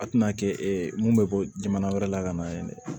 A tɛna kɛ e mun bɛ bɔ jamana wɛrɛ la ka na ye